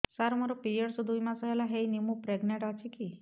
ସାର ମୋର ପିରୀଅଡ଼ସ ଦୁଇ ମାସ ହେଲା ହେଇନି ମୁ ପ୍ରେଗନାଂଟ ଅଛି କି